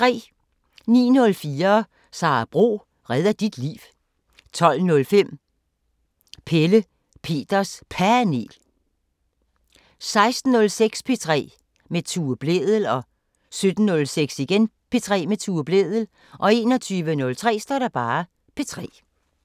09:04: Sara Bro redder dit liv 12:05: Pelle Peters Panel 16:06: P3 med Tue Blædel 17:06: P3 med Tue Blædel 21:03: P3